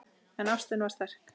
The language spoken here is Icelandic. En ástin var sterk.